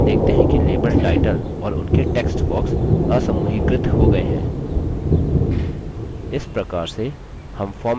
अब हम देखते हैं कि label टाइटल और उनके text box असमूहीकृत हो गये हैं